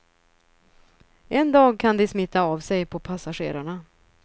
En dag kan de smitta av sig på passagerarna.